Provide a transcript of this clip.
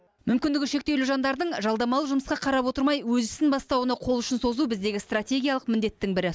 мүмкіндігі шектеулі жандардың жалдамалы жұмысқа қарап отырмай өз ісін бастауына қол ұшын созу біздегі стратегиялық міндеттің бірі